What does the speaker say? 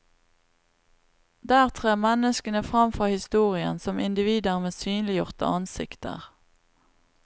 Der trer menneskene fram fra historien, som individer med synliggjorte ansikter.